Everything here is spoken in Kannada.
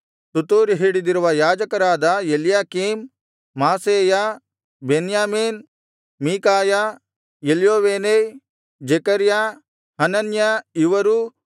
ತುತ್ತೂರಿ ಹಿಡಿದಿರುವ ಯಾಜಕರಾದ Eliakim Maaseiah Miniamin Micaiah Elioenai Zechariah Hananiah ಇವರೂ